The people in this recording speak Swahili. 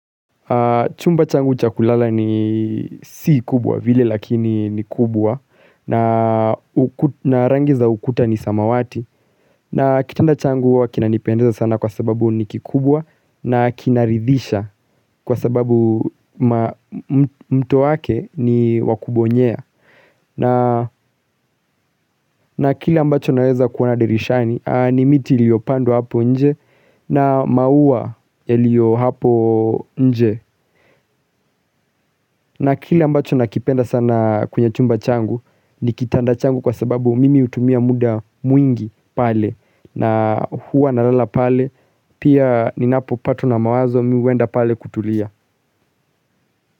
Chumba changu cha kulala ni si kubwa vile lakini ni kubwa na rangi za ukuta ni samawati, na kitanda changu huwa kinanipendeza sana kwa sababu ni kikubwa, na kinaridhisha kwa sababu mto wake ni wa kubonyea. Na kile ambacho naweza kuona dirishani ni miti iliyopandwa hapo nje na maua iliyo hapo nje na kile ambacho nakipenda sana kwenye chumba changu ni kitanda changu kwa sababu mimi hutumia muda mwingi pale na huwa nalala pale pia ninapopatwa na mawazo mi huenda pale kutulia.